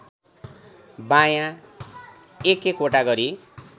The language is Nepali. बायाँ एकएकवटा गरी